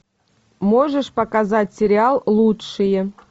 можешь показать сериал лучшие